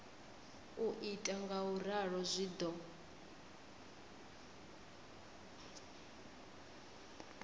u ita ngauralo zwi do